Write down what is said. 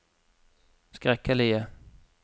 skrekkelige